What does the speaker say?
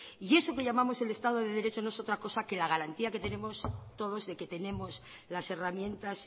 y eso que llamamos el estado de derecho no es otra cosa que la garantía que tenemos todos de que tenemos las herramientas